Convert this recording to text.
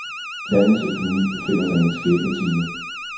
Landets økonomi befinder sig i en skæbnetime.